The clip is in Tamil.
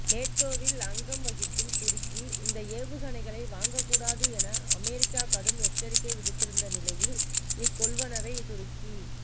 நேட்டோவில் அங்கம் வகிக்கும் துருக்கி இந்த ஏவுகணைகளை வாங்கக்கூடாது என அமெரிக்கா கடும் எச்சரிக்கை விடுத்திருந்த நிலையில் இக்கொள்வனவை துருக்கி